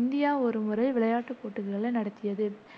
India ஒருமுறை விளையாட்டுப் போட்டிகளை நடத்தியது,